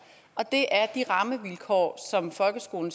og det er de rammevilkår som folkeskolen